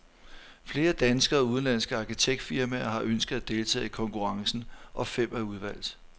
Flere danske og udenlandske arkitektfirmaer har ønsket at deltage i konkurrencen, og fem er udvalgt.